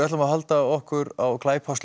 höldum okkur á